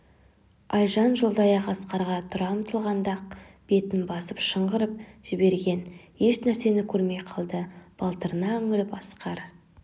айжан жолдаяқ асқарға тұра ұмтылғанда-ақ бетін басып шыңғырып жіберген еш нәрсені көрмей қалды балтырына үңіліп асқар